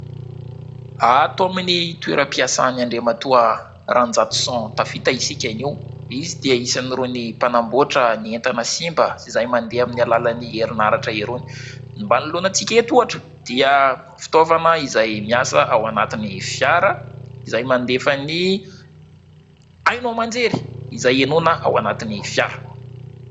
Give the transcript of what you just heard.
Ato amin'ny toeram-piasan' Andriamatoa Ranjatoson Tafita isika anio, izy dia isan'irony mpanamboatra ny entana simba sy izay mandeha amin'ny alalan'ny herinaratra irony. Manoloana antsika eto oatra dia fitaovana izay miasa ao anatin'ny fiara, izay mandefa ny haino aman-jery izay henoina ao anatin'ny fiara.